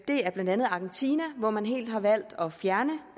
det er blandt andet argentina hvor man helt har valgt at fjerne